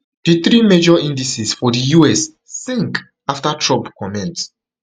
di three major indices for di us sink after trump comments